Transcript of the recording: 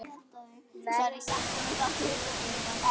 Verði hann Guði falinn.